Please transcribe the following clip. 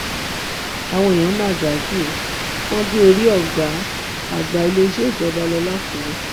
àwọn èèyàn mà dájú ó wọn gé orí ọgá àgbà iléeṣẹ ìjọba lọ làkúrẹ